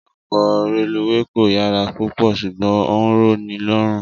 Ọkọ̀ reluwé kò yára púpọ̀ ṣùgbọ́n ó ń rọ ní lọ́rùn